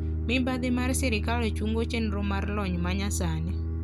Mibadhi mar sirkal chungo chenro mar lony manyasani.